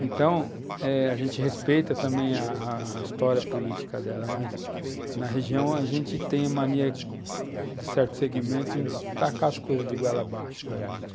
Então, eh a gente respeita também a a história política dela, mas na região a gente tem a mania, de certo segmento, em tacar as coisas de goela abaixo para a gente.